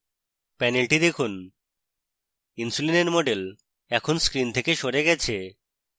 panel দেখুন insulin এর model এখন screen থেকে সরে গেছে